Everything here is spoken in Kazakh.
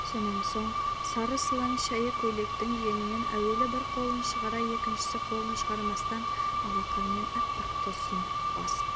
сонан соң сары сылаң шәйі көйлектің жеңінен әуелі бір қолын шығара екінші қолын шығармастан алақанымен аппақ төсін басып